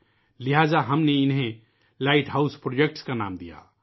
لہٰذا ، ہم نے ان کو لائٹ ہاؤس پروجیکٹس کا نام دیا